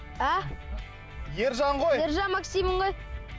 а ержан ғой ержан максиммін ғой